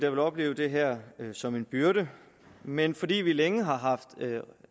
vil opleve det her som en byrde men fordi vi længe har haft